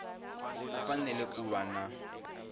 ku fanele ku va na